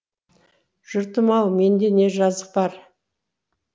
жұртым ау менде не жазық бар